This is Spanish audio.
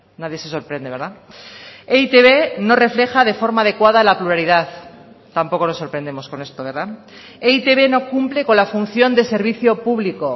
nadie se sorprende verdad e i te be no refleja de forma adecuada la pluralidad tampoco nos sorprendemos con esto verdad e i te be no cumple con la función de servicio público